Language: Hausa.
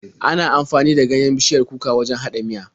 Ana amfani da ganyen bishiyar kuka wajen haɗa miya.